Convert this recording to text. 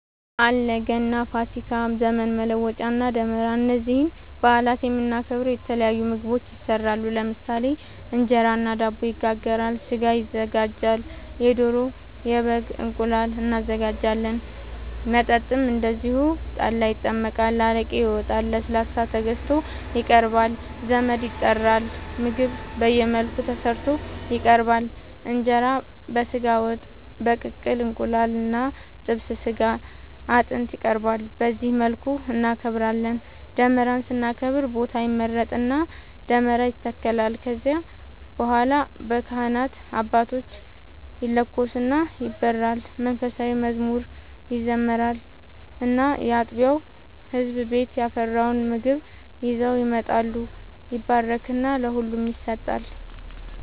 አለ ገና፣ ፋሲካ፣ ዘመን መለወጫ እና ደመራ እነዚህን በአላት የምናከብረው የተለያዩ ምግቦች ይሰራሉ ለምሳሌ እንጀራ እና ዳቦ ይጋገራል፣ ስጋ ይዘጋጃል የዶሮ፣ የበግም፣ እንቁላል እናዘጋጃለን። መጠጥም እንደዚሁ ጠላ ይጠመቃል፣ አረቄ ይወጣል፣ ለስላሳ ተገዝቶ ይቀርባል ዘመድ ይጠራል ምግብ በየመልኩ ተሰርቶ ይቀርባል እንጀራ በስጋ ወጥ፣ በቅቅል እንቁላል እና ጥብስ ስጋ አጥንት ይቀርባል በዚህ መልኩ እናከብራለን። ደመራን ስናከብር ቦታ ይመረጥና ደመራ ይተከላል ከዚያ በኋላ በካህናት አባቶች ይለኮስና ይበራል መንፉሳዊ መዝሙር ይዘመራል እና ያጥቢያው ህዝብ ቤት ያፈራውን ምግብ ይዘው ይመጣሉ ይባረክና ለሁሉም ይሰጣል።